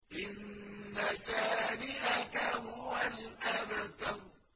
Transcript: إِنَّ شَانِئَكَ هُوَ الْأَبْتَرُ